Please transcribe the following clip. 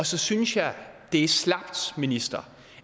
så synes jeg at det er slapt minister